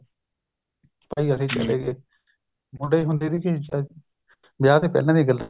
ਤਾਂ ਹੀ ਅਸੀਂ ਚਲੇ ਗਏ ਮੁੰਡੇ ਹੁੰਦੇ ਸੀ ਅਹ ਵਿਆਹ ਦੇ ਪਹਿਲਾਂ ਦੀਆਂ ਗੱਲਾਂ